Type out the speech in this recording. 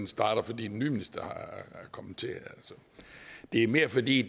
starter fordi den nye minister er kommet til det er mere fordi